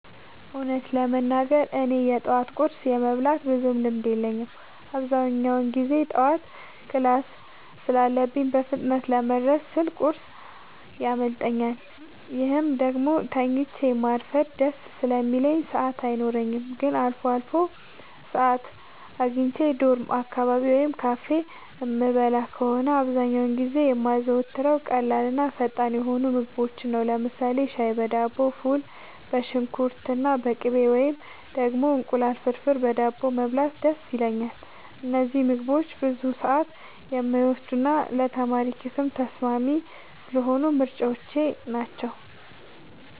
እውነቱን ለመናገር እኔ የጠዋት ቁርስ የመብላት ብዙም ልምድ የለኝም። አብዛኛውን ጊዜ ጠዋት ክላስ ስላለኝ በፍጥነት ለመድረስ ስል ቁርስ ያመልጠኛል፤ ወይም ደግሞ ተኝቶ ማርፈድ ደስ ስለሚለኝ ሰዓት አይኖረኝም። ግን አልፎ አልፎ ሰዓት አግኝቼ ዶርም አካባቢ ወይም ካፌ የምበላ ከሆነ፣ አብዛኛውን ጊዜ የማዘወትረው ቀላልና ፈጣን የሆኑ ምግቦችን ነው። ለምሳሌ ሻይ በዳቦ፣ ፉል በሽንኩርትና በቅቤ፣ ወይም ደግሞ እንቁላል ፍርፍር በዳቦ መብላት ደስ ይለኛል። እነዚህ ምግቦች ብዙ ሰዓት የማይወስዱና ለተማሪ ኪስም ተስማሚ ስለሆኑ ምርጫዎቼ ናቸው።